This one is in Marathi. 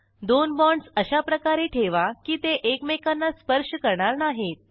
दोन बाँडस अशाप्रकारे ठेवा की ते एकमेकांना स्पर्श करणार नाहीत